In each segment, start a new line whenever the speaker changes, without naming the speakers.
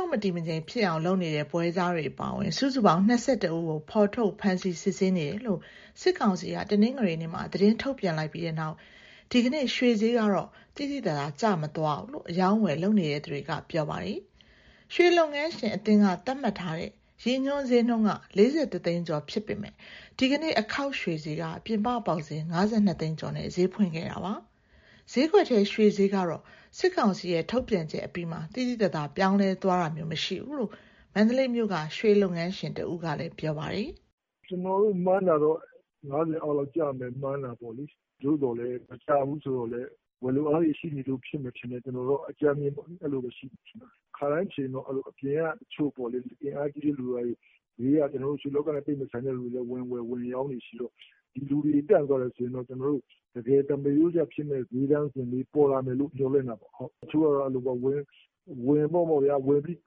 န်း မတည်မငြိမ်ဖြစ်အောင် လုပ်နေတဲ့ ပွဲစားတွေအပါအဝင် စုစုပေါင်း ၂၁ ဦးကို ဖော်ထုတ်ဖမ်းဆီး စစ်ဆေးနေတယ်လို့ စစ်ကောင်စီက တနင်္ဂနွေနေ့မှာ သတင်းထုတ်ပြန်လိုက်ပြီးနောက် ဒီကနေ့ ရွှေဈေးကတော့ သိသိသာသာ ကျမသွားဘူးလို့ အရောင်းအဝယ် လုပ်နေသူတွေက ပြောပါတယ်။ ရွှေလုပ်ငန်းရှင်အသင်းက သတ်မှတ်ထားတဲ့ ရည်ညွှန်းဈေးနှုန်းက ၄၁ သိန်းကျော် ဖြစ်ပေမဲ့ ဒီကနေ့ အခေါက်ရွှေဈေးက ပြင်ပပေါက်ဈေး ၅၂ သိန်းကျော်နဲ့ ဈေးဖွင့်ခဲ့တာပါ။ ဈေးကွက်ထဲ ရွှေဈေးကတော့ စစ်ကောင်စီရဲ့ ထုတ်ပြန်ချက်အပြီးမှာ သိသိသာသာ ပြောင်းလဲသွားတာမျိုး မရှိဘူးလို့ မန္တလေးမြို့က ရွှေလုပ်ငန်းရှင်တဦးကလည်း ပြောပါတယ်။
"ကျနော်တို့ မှန်းတာတော့ ၅၀ အောက်လောက်ကျမယ် မှန်းတာပေါ့။ သို့သော်လည်း မကျဘူးဆိုတော့လည်း ဝယ်လိုအားတွေ ရှိနေလို့ဖြစ်မယ် ထင်တယ်။ ခါတိုင်းဆိုရင် အပြင်ကအင်အားကြီးတဲ့ တချို့လူတွေက ရွှေလောကနဲ့မဆိုင်လည်း ဝင်ဝယ်၊ ဝင်ရောင်းတွေရှိတော့ ဒီလူတွေ တန့်သွားတယ်ဆိုရင်တော့ တကယ်သမာရိုးကျဖြစ်မယ့် စျေးတန်းလေး ပေါ်လာမယ်လို့ မျှော်လင့်တာပေါ့။ တချို့ကျတော့ အဲလိုပေါ့ဗျာ၊ အကုန်ဝင်ပြီး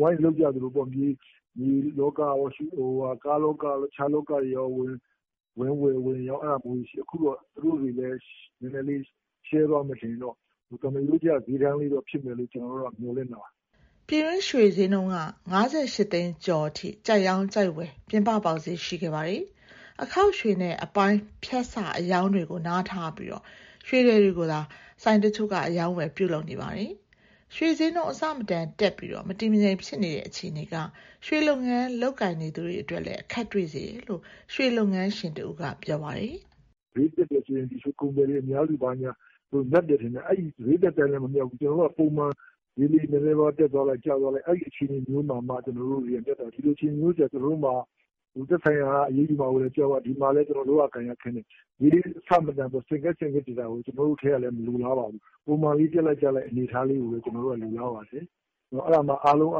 ဝိုင်းလုပ်ကြသလိုပေါ့။ မြေလောကရော၊ ကားလောကရော၊ တခြားလောကရော ဝင်ဝယ်၊ ဝယ်ရောင်း အဲဒါမျိုးတွေရှိတယ်။ အခုတော့ သူတို့တွေလည်း နည်းနည်းလေးရှဲသွားမယ် ဆိုရင်တော့ သမားရိုးကျ စျေးတန်းလေးဖြစ်မယ်လို့ ကျနော်တို့ကတော့ မျှော်လင့်တာပါ
။" ပြည်တွင်းရွှေစျေးနှုန်းက ၅၈ သိန်းကျော်အထိ ကြိုက်ရောင်း၊ ကြိုက်ဝယ် ပြင်ပပေါက်စျေး ရှိခဲ့ပါတယ်။ အခေါက်ရွှေနဲ့ အပိုင်း၊ ဖြတ်စအရောင်းတွေကို နားထားပြီး ရွှေထည်တွေကိုသာ ဆိုင်တချို့က အရောင်းအဝယ် ပြုလုပ်နေကြတာပါ။ ရွှေစျေးနှုန်း အဆမတန်တက်ပြီး မတည်မငြိမ် ဖြစ်နေတဲ့ အခြေအနေက ရွှေလုပ်ငန်း လုပ်ကိုင်သူတွေအတွက်လည်း အခက်တွေ့စေတယ်လို့ ရွှေလုပ်ငန်းရှင်တဦးက ပြောပါတယ်။
"စျေးတက်တယ်ဆိုရင် ရွှေကုန်သည်တွေ မြတ်တယ်ထင်ကြတယ်။ အဲဒီလို စျေးတက်တိုင်းလည်း မမြတ်ဘူး။ ကျနော်တို့က ပုံမှန်စျေးလေး နည်းနည်းပါးပါး တက်သွားလိုက်၊ ကျသွားလိုက် အဲဒီအခြေအနေမျိုးမှ ကျနော်တို့တွေက မြတ်တာ။ ဒီလိုအခြေအနေမျိုးကျ ကျနော်တို့မှာ သက်ဆိုင်ရာက အရေးယူမှာကို ကြောက်ရ၊ တဖက်မှာလည်း လုပ်ရကိုင်ရခက်နေ။ စျေးအဆမတန် ဆင့်ကဲဆင့်ကဲ တက်နေတာကို ကျနော်တို့ထဲကလည်း မလိုလားပါဘူး။ ပုံမှန်လေး တက်လိုက်၊ ကျလိုက် အနေအထားကိုပဲ ကျနော်တို့က လိုလားပါတယ်။ အဲဒါမှ အားလုံးအ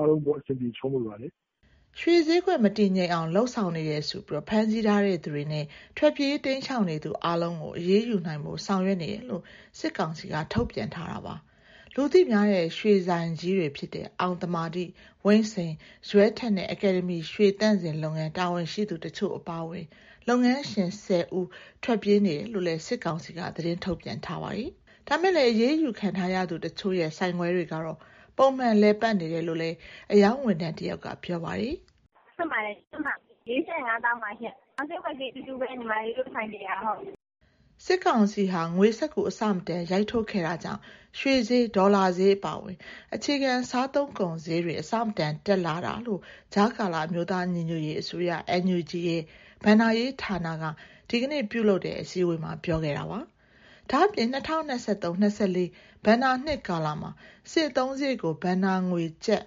ဆင်ပြေ ချောမွေ့ပါတယ်။
" ရွှေစျေးကွက် မတည်ငြိမ်အောင် လုပ်ဆောင်နေတယ်ဆိုပြီး ဖမ်းဆီးထားသူတွေနဲ့ ထွက်ပြေးတိမ်းရှောင် နေသူအားလုံးကို အရေးယူနိုင်ဖို့ ဆောင်ရွက်နေတယ်လို့ စစ်ကောင်စီက ထုတ်ပြန်ထားတာပါ။ လူသိများတဲ့ ရွှေဆိုင်ကြီးတွေဖြစ်တဲ့ အောင်သမာဓိ၊ ဝိန့်စိန်၊ ဇွဲထက်နဲ့ အကယ်ဒမီ ရွှေသန့်စင်လုပ်ငန်း တာဝန်ရှိသူ တချို့ အပါအဝင် လုပ်ငန်းရှင် ၁၀ ဦး ထွက်ပြေးနေတယ်လို့လည်း စစ်ကောင်စီက သတင်းထုတ်ပြန်ထားပါတယ်။ ဒါပေမဲ့လည်း အရေးယူခံထားရသူတချို့ရဲ့ ဆိုင်ခွဲတွေကတော့ ပုံမှန်လည်ပတ်နေတယ်လို့လည်း အရောင်းဝန်ထမ်း တယောက်က ပြောပါတယ်။
"ဆိုင်ခွဲတွေအားလုံး ဖွင့်ပါတယ်။ ၁၅ ပဲရည် ဒီနေ့စျေးက ၄,၀၅၀,၀၀၀ ပါ။ ရောင်းစျေးနဲ့ ဝယ်စျေး ဆိုင်ခွဲအားလုံး အတူတူပါပဲ။
" စစ်ကောင်စီဟာ ငွေစက္ကူအဆမတန် ရိုက်ထုတ်ခဲ့တာကြောင့် ရွှေစျေး၊ ဒေါ်လာစျေး အပါအဝင် အခြေခံ စားသုံးကုန်စျေးတွေ အဆမတန်တက်လာတာလို့ ကြားကာလ အမျိုးသားညီညွတ်ရေးအစိုးရ NUG ရဲ့ ဘဏ္ဍာရေးဌာနက ဒီကနေ့မှာ ပြုလုပ်တဲ့အစည်းအဝေးမှာ ပြောခဲ့ပါတယ်။ ဒါ့အပြင် ၂၀၂၃ - ၂၄ ဘဏ္ဍာနှစ်ကာလမှာ စစ်အသုံးစရိတ်ကို ဘဏ္ဍာငွေ ကျပ်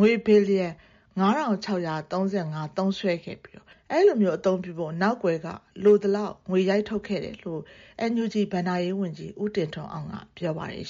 ငွေဘီလီယံ ၅,၆၃၅ သုံးစွဲခဲ့ပြီး၊ အဲဒီလို အသုံးပြုဖို့ နောက်ကွယ်မှာ လိုသလောက် ငွေရိုက်ထုတ်ခဲ့တယ်လို့ NUG ဘဏ္ဍာရေးဝန်ကြီး ဦးတင်ထွန်းအောင်က ပြောပါတယ်